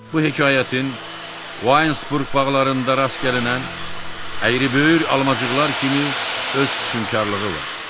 Bu hekayətin Wonesburg bağlarında rast gəlinən əyri-böyür almaçıqlar kimi öz vüsunkarlığı var.